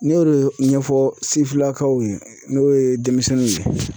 N y'o de ɲɛfɔ sifinlakaw ye n'o ye denmisɛnninw ye